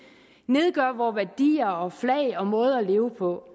nedgør vore værdier og flag og måde at leve på